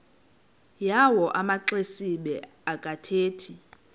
yawo amaxesibe akathethi